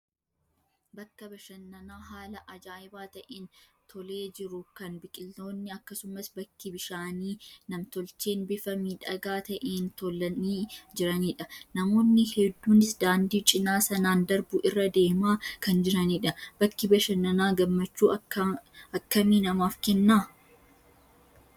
Bakka bashannanaa haala ajaa'iba ta'een tolee jiru, kan biqiltoonni akkasumas bakki bishaanii nam-tolcheen bifa miidhagaa ta'een tolanii jiranidha. Namoonni hedduunis daandii cinaa sanaan darbu irra deemaa kan jiranidha. Bakki bashannanaa gammachuu akkamii namaaf kenna?